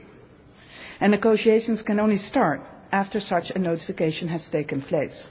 50. Negotiations can only start after such a notification has taken